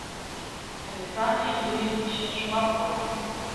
александре юрьевиче шумакове